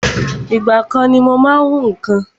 Ìgbà kan ni mo má ń hún nǹkan